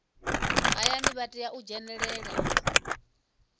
hayani vha tea u dzhenelela